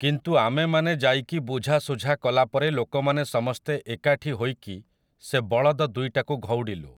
କିନ୍ତୁ ଆମେମାନେ ଯାଇକି ବୁଝା ସୁଝା କଲା ପରେ ଲୋକମାନେ ସମସ୍ତେ ଏକାଠି ହୋଇକି ସେ ବଳଦ ଦୁଇଟାକୁ ଘଉଡ଼ିଲୁ ।